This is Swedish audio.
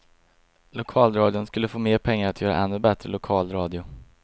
Lokalradion skulle få mer pengar att göra ännu bättre lokal radio.